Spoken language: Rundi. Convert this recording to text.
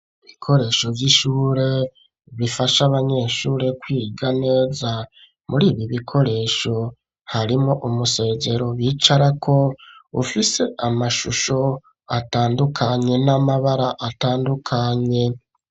Ibikoresho vy'ishure bifasha abanyeshure kwiga neza muri ibi bikoresho harimwo umusezero bicara ko ufise amashusho atandukanye n'amabara atandukanye.